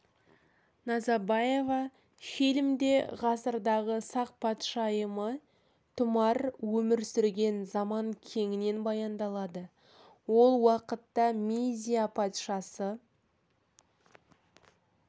назабаева фильмде ғасырдағы сақ патшайымы тұмар өмір сүрген заман кеңінен баяндалады ол уақытта мидия патшасы